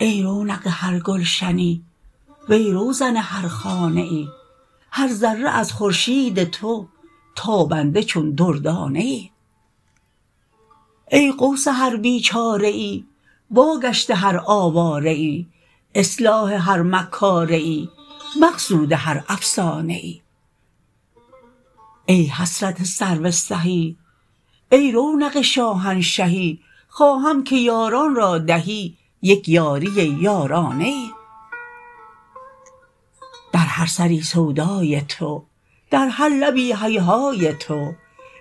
ای رونق هر گلشنی وی روزن هر خانه ای هر ذره از خورشید تو تابنده چون دردانه ای ای غوث هر بیچاره ای واگشت هر آواره ای اصلاح هر مکاره ای مقصود هر افسانه ای ای حسرت سرو سهی ای رونق شاهنشهی خواهم که یاران را دهی یک یاریی یارانه ای در هر سری سودای تو در هر لبی هیهای تو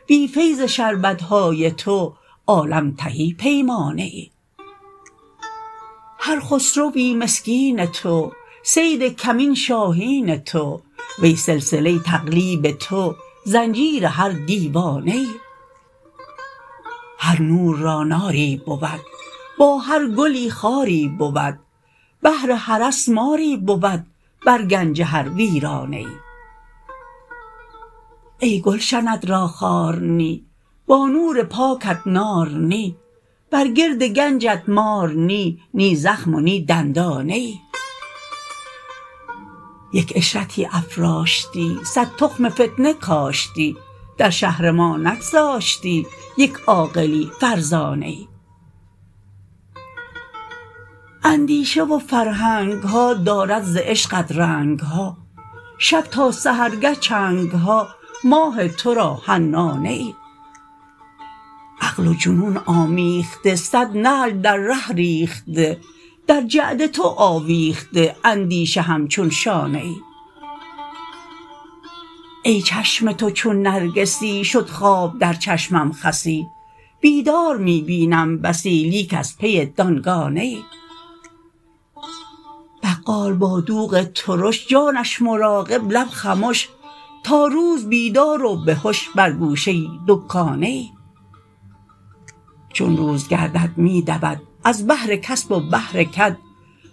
بی فیض شربت های تو عالم تهی پیمانه ای هر خسروی مسکین تو صید کمین شاهین تو وی سلسله تقلیب تو زنجیر هر دیوانه ای هر نور را ناری بود با هر گلی خاری بود بهر حرس ماری بود بر گنج هر ویرانه ای ای گلشنت را خار نی با نور پاکت نار نی بر گرد گنجت مار نی نی زخم و نی دندانه ای یک عشرتی افراشتی صد تخم فتنه کاشتی در شهر ما نگذاشتی یک عاقلی فرزانه ای اندیشه و فرهنگ ها دارد ز عشقت رنگ ها شب تا سحرگه چنگ ها ماه تو را حنانه ای عقل و جنون آمیخته صد نعل در ره ریخته در جعد تو آویخته اندیشه همچون شانه ای ای چشم تو چون نرگسی شد خواب در چشمم خسی بیدار می بینم بسی لیک از پی دانگانه ای بقال با دوغ ترش جانش مراقب لب خمش تا روز بیدار و به هش بر گوشه دکانه ای چون روز گردد می دود از بهر کسب و بهر کد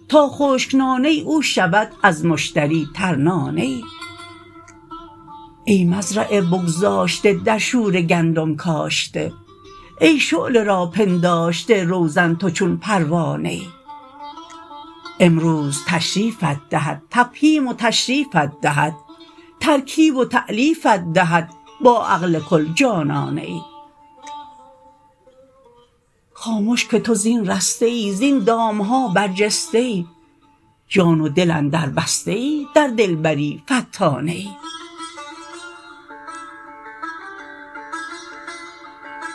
تا خشک نانه او شود مشتری ترنانه ای ای مزرعه بگذاشته در شوره گندم کاشته ای شعله را پنداشته روزن تو چون پروانه ای امروز تشریفت دهد تفهیم و تشریفت دهد ترکیب و تألیفت دهد با عقل کل جانانه ای خامش که تو زین رسته ای زین دام ها برجسته ای جان و دل اندربسته ای در دلبری فتانه ای